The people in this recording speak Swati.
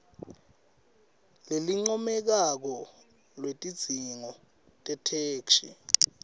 lelincomekako lwetidzingo tetheksthi